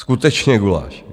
Skutečně guláš.